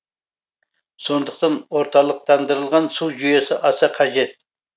сондықтан орталықтандырылған су жүйесі аса қажет